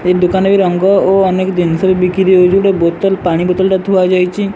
ଏ ଦୋକାନ ବି ରଙ୍ଗ ଓ ଅନେକ ଦିନସ ବି ବିକ୍ରି ହଉଚି ଗୋଟେ ବୋତଲ ପାଣି ବୋତଲ ଟା ଥୁଆ ହେଇଚି।